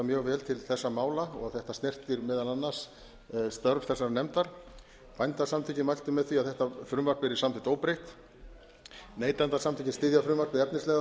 mjög vel til þessara mála þetta snertir meðal annars störf þessarar nefndar bændasamtökin mæltu með því að þetta frumvarp yrði samþykkt óbreytt neytendasamtökin styðja frumvarpið efnislega þótt þau telji